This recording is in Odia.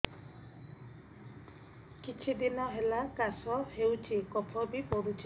କିଛି ଦିନହେଲା କାଶ ହେଉଛି କଫ ବି ପଡୁଛି